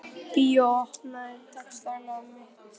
Bói, opnaðu dagatalið mitt.